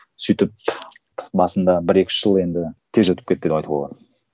сөйтіп басында бір екі үш жыл енді тез өтіп кетті деп айтуға болады